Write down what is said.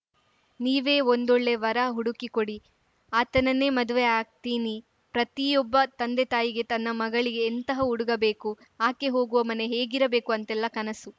ನೀವೇ ಒಂದೊಳ್ಳೆ ವರ ಹುಡುಕಿ ಕೊಡಿ ಆತನನ್ನೇ ಮದುವೆ ಆಗ್ತೀನಿ ಪ್ರತಿಯೊಬ್ಬ ತಂದೆತಾಯಿಗೆ ತನ್ನ ಮಗಳಿಗೆ ಎಂತಹ ಹುಡುಗ ಬೇಕು ಆಕೆ ಹೋಗುವ ಮನೆ ಹೇಗಿರಬೇಕು ಅಂತೆಲ್ಲ ಕನಸು